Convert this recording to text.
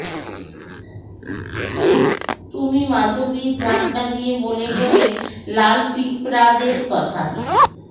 তুমি মাধবীর ঝাপটা দিয়ে বলে গেলে লাল পিঁপড়াদের কথা